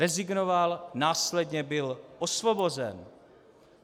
Rezignoval, následně byl osvobozen.